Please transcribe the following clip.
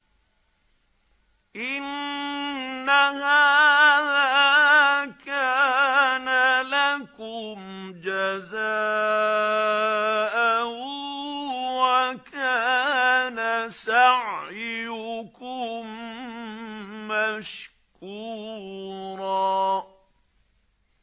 إِنَّ هَٰذَا كَانَ لَكُمْ جَزَاءً وَكَانَ سَعْيُكُم مَّشْكُورًا